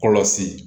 Kɔlɔsi